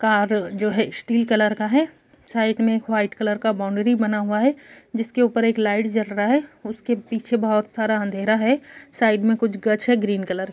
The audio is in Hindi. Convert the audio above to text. कार जो है स्टील कलर का है। साइड में एक व्हाइट कलर का बाउण्ड्री बना हुआ है जिसके ऊपर एक लाइट जल रहा है उसके पीछे बहुत सारा अँधेरा है। साइड में कुछ गछ है ग्रीन कलर का।